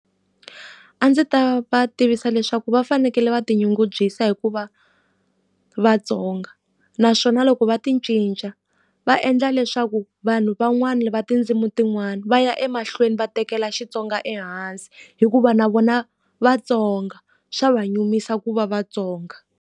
A ndzi ta va tivisa leswaku va fanekele va tinyungubyisa hi ku va Vatsonga. Naswona loko va ti cinca, va endla leswaku vanhu van'wani va tindzimi tin'wana va ya emahlweni va tekela Xitsonga ehansi. Hikuva na vona Vatsonga xa va nyumisa ku va Vatsonga.